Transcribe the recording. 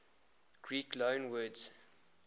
greek loanwords